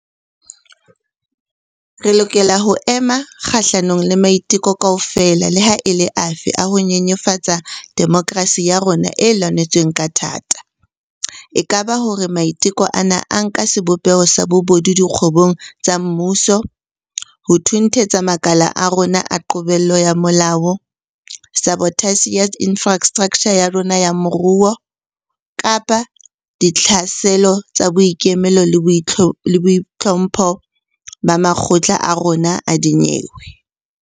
Re lokela ho ema kgahlanong le maiteko kaofela leha e le afe a ho nyenyefatsa demokerasi ya rona e lwanetsweng ka thata - e ka ba hore maiteko ana a nka sebopeho sa bobodu dikgwebong tsa mmuso, ho thunthetsa makala a rona a qobello ya molao, sabotasi ya infrastraktjha ya rona ya moruo, kapa ditlhaselo tsa boikemelo le boitlhompho ba makgotla a rona a dinyewe.